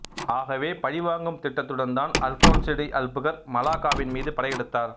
ஆகவே பழி வாங்கும் திட்டத்துடன் தான் அல்பான்சோ டி அல்புகர்க்கு மலாக்காவின் மீது படை எடுத்தார்